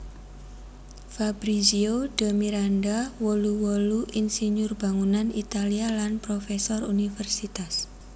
Fabrizio de Miranda wolu wolu insinyur bangunan Italia lan profèsor universitas